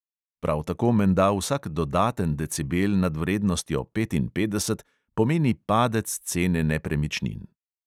Prav tako menda vsak dodaten decibel nad vrednostjo petinpetdeset pomeni padec cene nepremičnin.